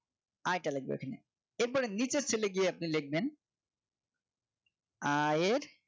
আয়টা লেখবেন এখানে এরপরে নিচের Cell গিয়ে আপনি লিখবেন আয়ের